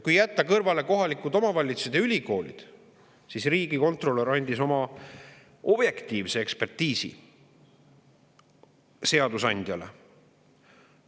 Kui jätta kõrvale kohalikud omavalitsused ja ülikoolid, siis riigikontrolör andis oma objektiivse ekspertiisi seadusandjale.